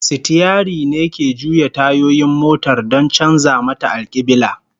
Sitiyari ne ke juya tayoyin motar don canza mata alkiblah